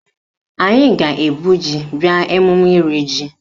Anyị ga-ebu ji bịa emume iri ji